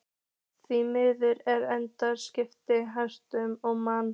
Með því að efla kynningu og samstarf heyrnarsljórra manna.